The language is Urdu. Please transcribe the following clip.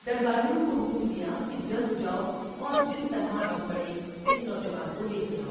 درباریوں کو حکم دیا کہ جلد جاؤ اور جس طرح بن پڑے اس نوجوان کو لے کے آؤ ۔